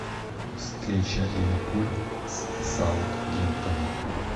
встреча ливерпуль с саутгемптоном